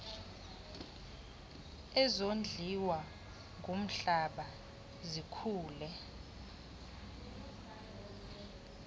ezondliwa ngumhlaba zikhule